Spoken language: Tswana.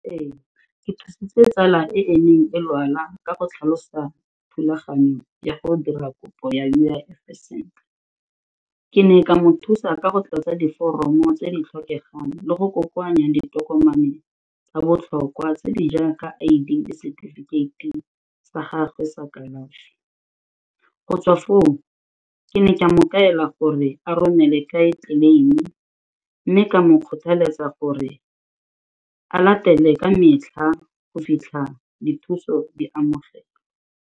Ee, ke thusitse tsala e e neng e lwala ka go tlhalosa thulaganyo ya go dira kopo ya U_I_F-e sentle. Ke ne ka mo thusa ka go tlatsa diforomo tse di tlhokegang le go kokoanya ditokomane tsa botlhokwa tse di jaaka I_D le setifikeiti sa gagwe sa kalafi, go tswa foo ke ne ke a mo kaela gore a romele kae tleleimi mme ka mo kgothaletsa gore a latelele ka metlha go fitlha dithuso di amogelwa.